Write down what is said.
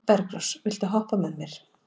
Bergrós, viltu hoppa með mér?